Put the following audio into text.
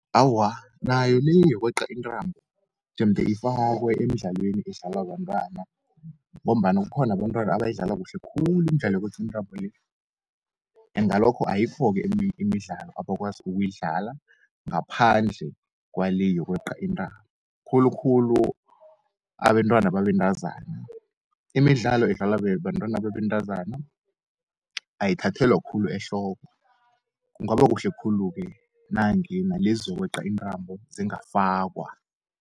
Awa nayo le, yokweqa intrambo jemde ifakwe emidlalweni edlalwa bantwana, ngombana kukhona abentwana abayidlala kuhle khulu imidlalo yokweqa intambo le. Engalokho ayikho eminye imidlalo abakwazi ukuyidlala, ngaphandle kwale yokweqa intambo, khulukhulu abentwana babentazana. Imidlalo edlalwa bentwana babentazana ayithathelwa khulu ehloko, kungaba kuhle khulu ke nange nalezokweqa intrambo zingafakwa.